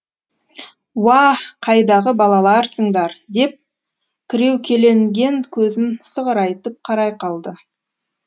уа қайдағы балаларсыңдар деп кіреукеленген көзін сығырайтып қарай қалды